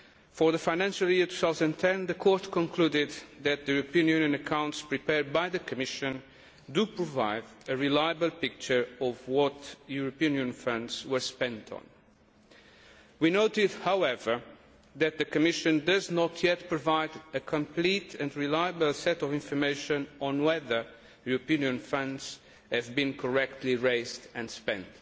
For the financial year 2010 the Court concluded that the European Union accounts prepared by the Commission do provide a reliable picture of what European Union funds were spent on. We noted, however, that the Commission does not yet provide a complete and reliable set of information on whether European Union funds have been correctly raised and spent.